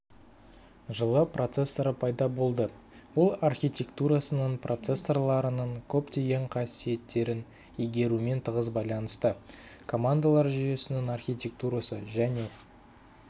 жылы процессоры пайда болды ол архитектурасының процессорларының көптеген қасиеттерін игерумен тығыз байланысты командалар жүйесінің архитектурасы және